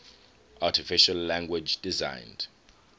artificial language designed